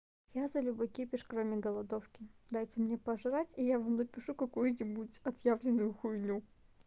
я за любой кипиш кроме голодовки дайте мне пожрать и я вам напишу какую-нибудь отъявленную хуйню